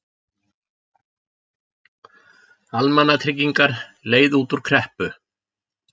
Almannatryggingar leið út úr kreppu